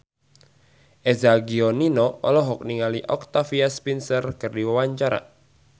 Eza Gionino olohok ningali Octavia Spencer keur diwawancara